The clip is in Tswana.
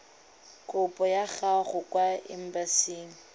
kopo ya gago kwa embasing